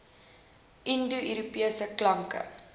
indo europese klanke